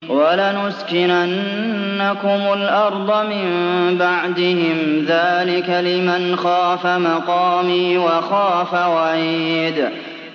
وَلَنُسْكِنَنَّكُمُ الْأَرْضَ مِن بَعْدِهِمْ ۚ ذَٰلِكَ لِمَنْ خَافَ مَقَامِي وَخَافَ وَعِيدِ